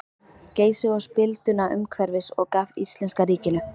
Geysi og spilduna umhverfis og gaf íslenska ríkinu.